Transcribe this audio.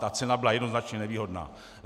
Ta cena byla jednoznačně nevýhodná.